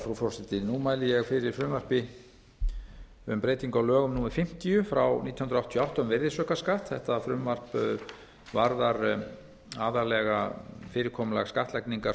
frú forseti nú mæli ég fyrir frumvarpi til laga um breyting á lögum númer fimmtíu nítján hundruð áttatíu og átta um virðisaukaskatt þetta frumvarp varðar aðallega fyrirkomulag skattlagningar